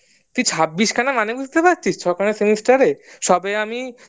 তুই ছাব্বিশ খানা মানে বুঝতে পারছিস ছখানা semester এ সবে আমি